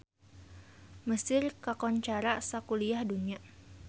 Mesir kakoncara sakuliah dunya